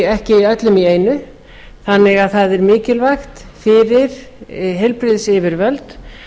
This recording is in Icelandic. ekki komið á öllum í einu þannig að það er mikilvægt fyrir heilbrigðisyfirvöld